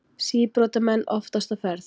Síbrotamenn oftast á ferð